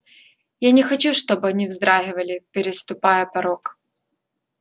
я не хочу чтобы они вздрагивали переступая порог